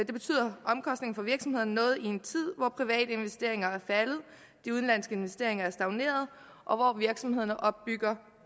det betyder noget i en tid hvor private investeringer er faldet og de udenlandske investeringer er stagneret og hvor virksomhederne opbygger